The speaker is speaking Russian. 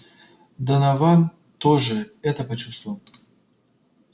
донован тоже это почувствовал